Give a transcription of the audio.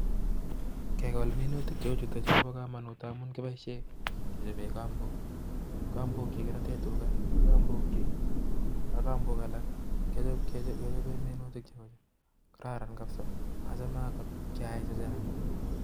Kekol minutik cheiuchutok chuu kopa kamanut amun kichopee kambook achame angot keaii chechang